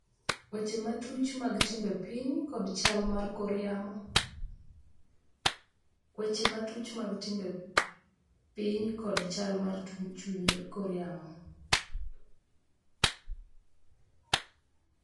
Weche matuch mag timbe piny kod chal mar kor yamo